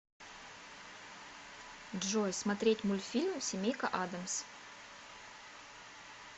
джой смотреть мультфильм семейка адамс